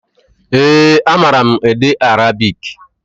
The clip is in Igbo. Ee, a mara m ede arabik.